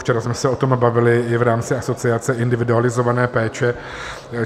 Včera jsme se o tom bavili i v rámci asociace individualizované péče.